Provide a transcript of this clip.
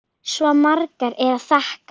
Svo margt er að þakka.